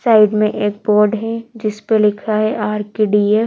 size में एक board जिस परे लिखा है आर_के_डी_एफ --